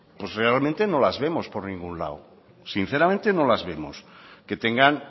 pues realmente no las vemos por ningún lado sinceramente no las vemos que tengan